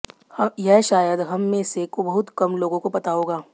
यह शायद हम में से बहुत कम लोगों को पता होगा